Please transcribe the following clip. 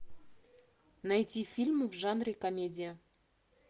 найти фильмы в жанре комедия